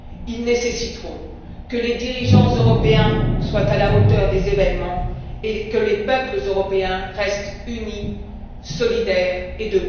Ils nécessiteront que les dirigeants européens soient à la hauteur des événements et que les peuples européens restent unis, solidaires